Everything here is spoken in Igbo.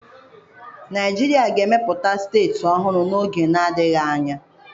Naijiria ga-emepụta steeti ọhụrụ n'oge adịghị anya.